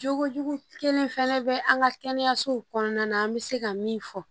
Jogo jugu kelen fɛnɛ bɛ an ka kɛnɛyasow kɔnɔna na an bɛ se ka min fɔ